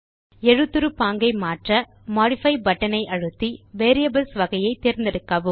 எழுத்துரு பாங்கை மாற்ற மோடிஃபை பட்டன் ஐ அழுத்தி வேரியபிள்ஸ் வகையை தேர்ந்தெடுக்கவும்